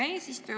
Hea eesistuja!